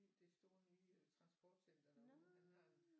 Det store nye transportcenter derude han har